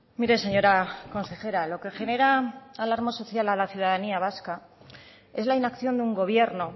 mire señora consejera lo que genera alarma social a la ciudadanía vasca es la inacción de un gobierno